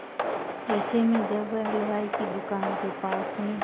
ऐसे में जब वह हलवाई की दुकान के पास से